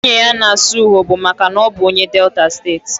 Nwunye ya na-asụ urhobo maka na ọ bụ onye Delta steeti.